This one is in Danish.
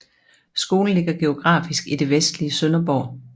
Skolen ligger geografisk i det vestlige Sønderborg